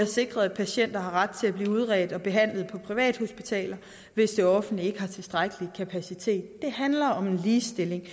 sikrer at patienter har ret til at blive udredt og behandlet på privathospitaler hvis det offentlige ikke har tilstrækkelig kapacitet det handler om ligestilling